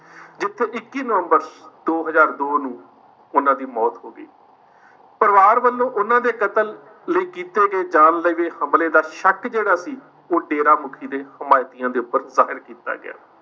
ਜਿੱਥੇ ਇੱਕੀ ਨਵੰਬਰ ਦੋ ਹਜ਼ਾਰ ਦੋ ਨੂੰ ਉਹਨਾਂ ਦੀ ਮੌਤ ਹੋ ਗਈ, ਪਰਿਵਾਰ ਵੱਲੋਂ ਉਹਨਾਂ ਦੇ ਕਤਲ ਲਈ ਕੀਤੇ ਗਏ ਜਾਨਲੇਵੇ ਹਮਲੇ ਦਾ ਸ਼ੱਕ ਜਿਹੜਾ ਸੀ ਉਹ ਡੇਰਾ ਮੁੱਖੀ ਦੇ ਹਿਮੈਤੀਆਂ ਦੇ ਉੱਪਰ ਜ਼ਾਹਿਰ ਕੀਤਾ ਗਿਆ।